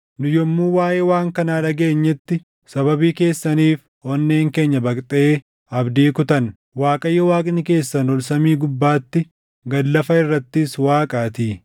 Nu yommuu waaʼee waan kanaa dhageenyetti sababii keessaniif onneen keenya baqxee abdii kutanne. Waaqayyo Waaqni keessan ol samii gubbaatti, gad lafa irrattis Waaqaatii.